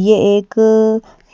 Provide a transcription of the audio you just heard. ये एक